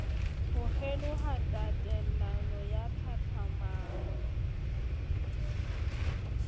ho kgeloha tatelano ya tlhahlamano